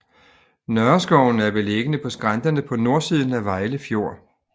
Nørreskoven er beliggende på skrænterne på nordsiden af Vejle Fjord